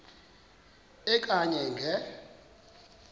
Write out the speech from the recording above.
e okanye nge